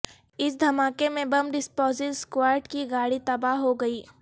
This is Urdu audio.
اس دھماکے میں بم ڈسپوزل سکواڈ کی گاڑی تباہ ہو گئی